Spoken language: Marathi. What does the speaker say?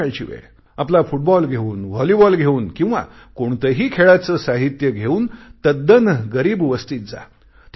संध्याकाळची वेळ आपला फुटबॉल घेऊन व्हॉलीबॉल घेऊन किंवा कोणतेही खेळाचे साहित्य घेऊन तद्दन गरीब वस्तीत जा